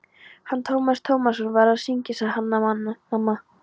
Hann Tómas Tómasson var að syngja, sagði Hanna-Mamma.